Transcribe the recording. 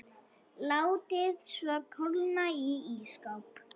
Látið svo kólna í ísskáp.